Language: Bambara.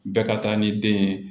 Bɛɛ ka taa ni den ye